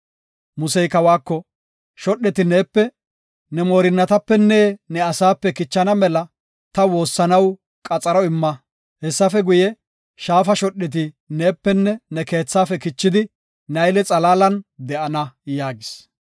Musey kawako, “Shodheti neepe, ne moorinnatapenne ne asaape kichana mela ta woossanaw qaxaro imma. Hessafe guye, Shaafa shodheti neepenne ne keethaafe kichidi Nayle xalaalan de7ana” yaagis.